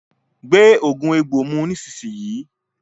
Gbé oògùn egbò mu nísìsiyìí!